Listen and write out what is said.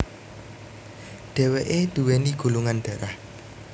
Dheweke duweni golongan dharah